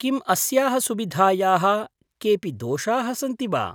किम् अस्याः सुविधायाः केऽपि दोषाः सन्ति वा?